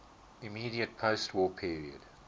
immediate postwar period